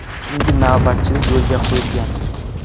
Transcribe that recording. Tungi navbatchilik yo‘lga qo‘yilgan.